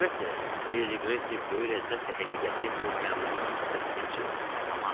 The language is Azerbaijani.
Əlbəttə, Ledi Qresika böyük ləzzətlə həqiqəti bu məlunun sifətinə çırpardı.